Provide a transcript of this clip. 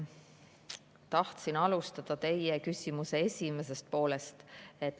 Tahtsin alustada teie küsimuse esimesest poolest.